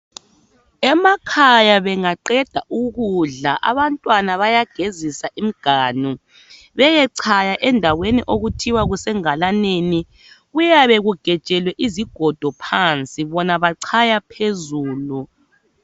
Emakhaya bengaqeda ukudla abantwana bayagezisa imganu beyechaya endaweni okuthiwa kusengalaneni. Kuyabe kugejelwe izigodo phansi bona bachaya phezulu